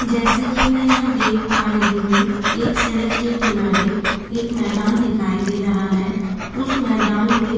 जैसा कि मैं यहां देख पा रही हूँ एक सड़क के किनारे एक मैदान दिखाई दे रहा है उस मैदान में --